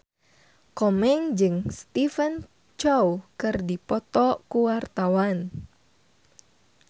Komeng jeung Stephen Chow keur dipoto ku wartawan